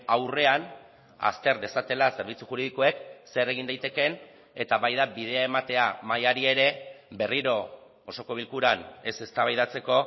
aurrean azter dezatela zerbitzu juridikoek zer egin daitekeen eta baita bidea ematea mahaiari ere berriro osoko bilkuran ez eztabaidatzeko